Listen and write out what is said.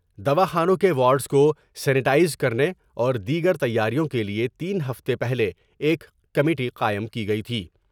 دوا خانوں کے وارڈس کو سینیٹائز کر نے اور دیگر تیاریوں کیلئے تین ہفتے پہلے ایک کمیٹی قائم کی گئی تھی ۔